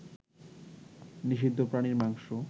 নিষিদ্ধ প্রাণীর মাংস